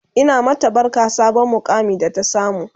Ina mata barka sabon muƙamin da ta samu